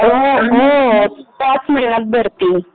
हो हो ह्याचं महिन्यात भरते